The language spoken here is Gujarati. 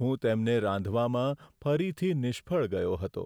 હું તેમને રાંધવામાં ફરીથી નિષ્ફળ ગયો હતો.